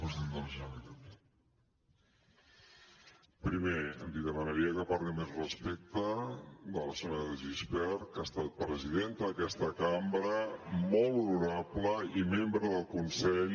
primer li demanaria que parli amb més respecte de la senyora de gispert que ha estat presidenta d’aquesta cambra molt honorable i membre del consell